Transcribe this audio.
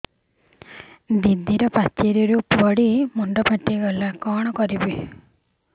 ଦିଦି ପାଚେରୀରୁ ପଡି ମୁଣ୍ଡ ଫାଟିଗଲା କଣ କରିବି